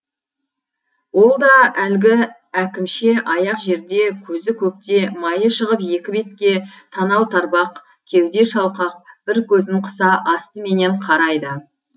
ол да әлгі әкімше аяқ жерде көзі көкте майы шығып екі бетке танау тарбақ кеуде шалқақ бір көзін қыса астыменен қарайды